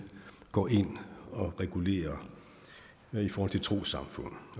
går ind og regulerer i forhold til trossamfund